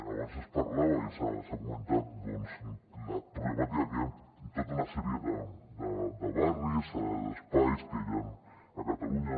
abans es parlava i s’ha comentat doncs la problemàtica que hi ha en tota una sèrie de barris d’espais que hi han a catalunya